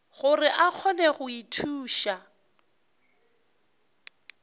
gore a kgone go ithuša